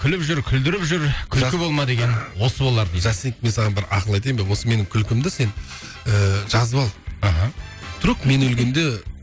күліп түр күлдіріп жүр күлкі болма деген осы болар жастинг мен саған бір ақыл айтайын ба осы менің күлкімді сен ыыы жазып ал мхм вдруг мен өлгенде